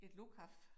Et lukaf